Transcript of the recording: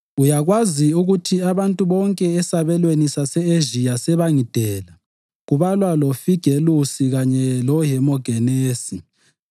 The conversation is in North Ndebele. Uyakwazi ukuthi abantu bonke esabelweni sase-Ezhiya sebangidela, kubalwa loFigelusi kanye loHemogenesi.